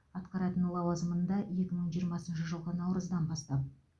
атқаратын лауазымында екі мың жиырмасыншы жылғы наурыздан бастап